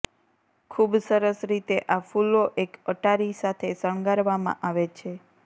ખૂબ સરસ રીતે આ ફૂલો એક અટારી સાથે શણગારવામાં આવે છે